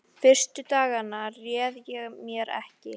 Fyrstu dagana réð ég mér ekki.